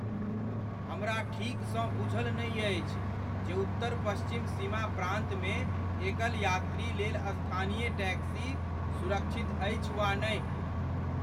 हमरा ठीकसँ बूझल नहि अछि जे उत्तर पश्चिम सीमा प्रान्तमे एकल यात्रीलेल स्थानीय टैक्सी सुरक्षित अछि वा नहि।